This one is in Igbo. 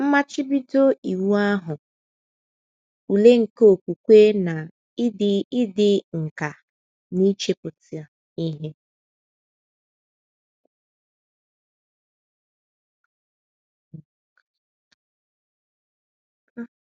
Mmachibido Iwu Ahụ Ule nke Okwukwe na Ịdị Ịdị Nkà n’Ichepụta Ihe